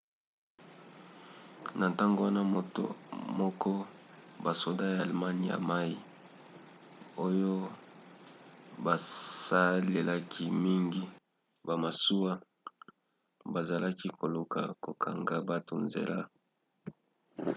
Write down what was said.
na ntango wana moko basoda ya allemagne ya mai oyo basalelaki mingi bamasuwa bazalaki koluka kokanga bato nzela